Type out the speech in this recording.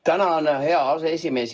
Tänan, hea aseesimees!